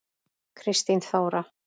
Kristín Þóra.